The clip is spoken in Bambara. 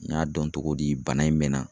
N y'a dɔn togo di bana in mɛna.